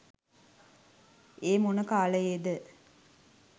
ඒ මොන කාලයේද